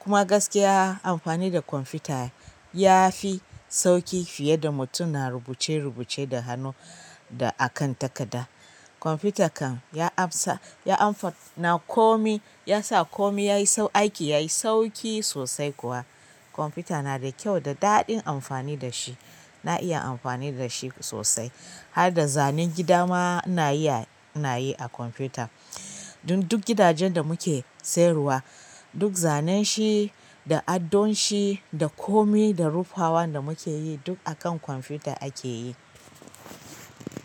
Kuma gaskiya amfani da kwamfuta yafi sauƙi fiye da mutum na rubuce rubuce da hannu da akan takarda. Kwamfuta kan ya amsa, ya amfa na komai, yasa komai yayi sau aiki yayi sauƙi sosai kuwa. Kwamfuta na da kyau da daɗin amfani da shi. Na iya amfani da shi sosai. Har da zanen gida ma ina yi, na yi a kwamfuta. Don duk gidajen da muke sayarwa, duk zanen shi da adon shi da komai da rufawan da muke yi duk akan kwamfuta a ke yi.